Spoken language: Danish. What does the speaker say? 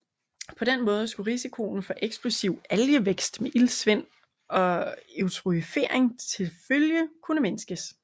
På den måde skulle risikoen for eksplosiv algevækst med iltsvind og eutrofiering tilfølge kunne mindskes